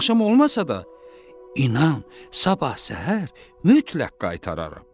Bu axşam olmasa da, inan, sabah səhər mütləq qaytararam.